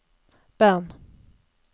Bern